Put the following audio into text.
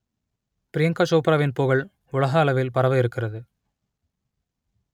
ப்ரியங்கா சோப்ராவின் புகழ் உலக அளவில் பரவ இருக்கிறது